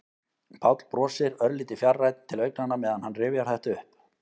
Páll brosir, örlítið fjarrænn til augnanna meðan hann rifjar þetta upp.